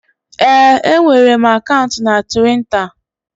Ee, enwere m akaụntụ na Tiwita